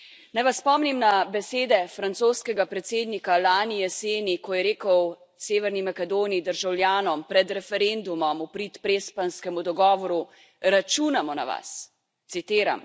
Naj vas spomnim na besede francoskega predsednika lani jeseni, ko je rekel Severni Makedoniji, državljanom pred referendumom v prid Prespanskemu dogovoru Računamo na vas citiram.